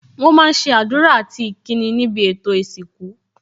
Wọn máa ń ṣe àdúrà àti ìkíni níbi ètò ìsìnkú